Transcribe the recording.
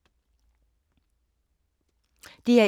DR1